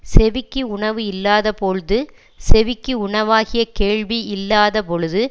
செவிக்கு உணவு இல்லாத போழ்து செவிக்கு உணவாகிய கேள்வி இல்லாத பொழுது